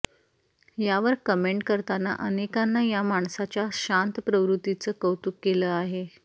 यावर कमेंट करताना अनेकांना या माणसाच्या शांत प्रवृत्तीचं कौतुक केलं आहे